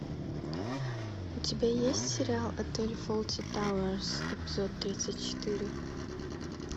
у тебя есть сериал отель фолти тауэрс эпизод тридцать четыре